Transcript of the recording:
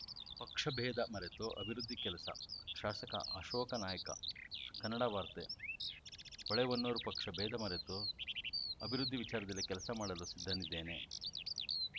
ಪಕ್ಷ ಭೇದ ಮರೆತು ಅಭಿವೃದ್ಧಿ ಕೆಲಸ ಶಾಸಕ ಅಶೋಕ ನಾಯ್ಕ ಕನ್ನಡ ವಾರ್ತೆ ಹೊಳೆಹೊನ್ನೂರು ಪಕ್ಷ ಭೇದ ಮರೆತು ಅಭಿವೃದ್ಧಿ ವಿಚಾರದಲ್ಲಿ ಕೆಲಸ ಮಾಡಲು ಸಿದ್ಧನಿದ್ದೇನೆ